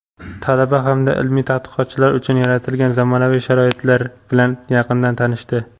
talaba hamda ilmiy tadqiqotchilar uchun yaratilgan zamonaviy sharoitlar bilan yaqindan tanishdi.